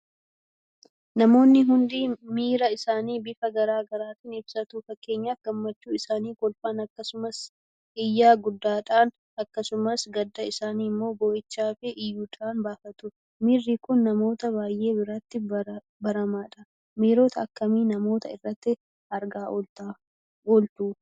Namoonni hundi miira isaanii bifa garaa garaatiin ibsatu. Fakkeenyaaf gammachuu isaanii kolfaan akkasumas iyya guddaadhaan; akkasumas gadda isaanii immoo boo'ichaafi iyyuudhaan baafatu. Miirri kun namoota baay'ee biratti baramaadha. Miirota akkamii namoota irratti argaa ooltu?